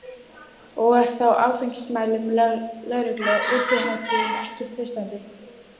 En er þá áfengismælum lögreglu á útihátíðum ekki treystandi?